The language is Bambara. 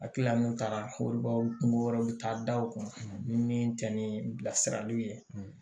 A kila min taara wɔri kungo wɛrɛw bɛ taa da o kun ni min tɛ ni bilasiraliw ye